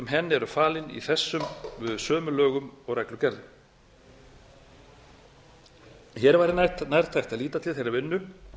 henni eru falin í þessum sömu lögum og reglugerðum hér væri nærtækt að líta til þeirrar vinnu